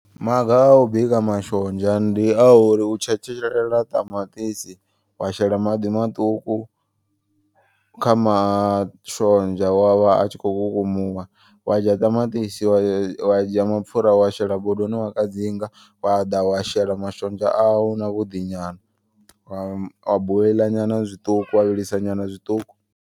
Maga a u bika mashonzha ndi a uri u tshetshelela ṱamaṱisi wa shela maḓi maṱuku kha mashonzha. Wavha atshikho kukumuwa wa dzhia ṱamaṱisi wa ya wa dzhia mapfura wa shela bodoni wa kadzinga. Wa ḓa wa shela mashonzha au na vhuḓi nyana wa wa boiḽa nyana zwiṱuku wa vhilisa nyana zwiṱuku.